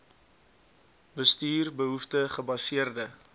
bestuur behoefte gebaseerde